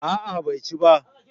A'a bai ci ba